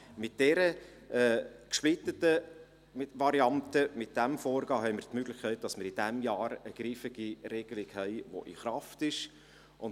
Nochmals: Mit dieser gesplitteten Variante, mit diesem Vorgehen, haben wir die Möglichkeit, noch in diesem Jahr eine griffige Regelung in Kraft gesetzt zu haben.